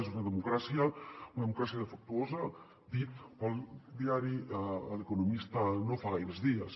és una democràcia defectuosa dit pel diari el economista no fa gaires dies